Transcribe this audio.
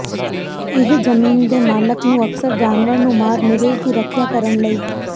ਇਹ ਜ਼ਮੀਨ ਦੇ ਮਾਲਕ ਨੂੰ ਅਕਸਰ ਜਾਨਵਰ ਨੂੰ ਮਾਰ ਨਿਵੇਸ਼ ਦੀ ਰੱਖਿਆ ਕਰਨ ਲਈ